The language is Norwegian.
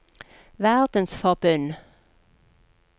verdensforbund